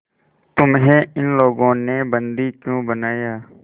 तुम्हें इन लोगों ने बंदी क्यों बनाया